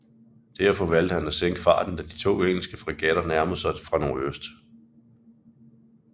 Derfor valgte han at sænke farten da de to engelske fregatter nærmede sig fra nordøst